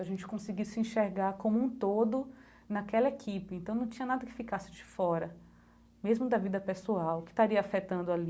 A gente conseguiu se enxergar como um todo naquela equipe, então não tinha nada que ficasse de fora, mesmo da vida pessoal que estaria afetando ali.